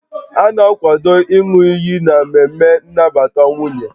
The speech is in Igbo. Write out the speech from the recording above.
A na-akwado ịñụ iyi n'ememe nnabata nwunye